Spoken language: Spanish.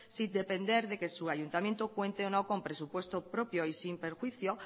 sin depender de que su ayuntamiento cuente o no con presupuesto propio y sin perjuicio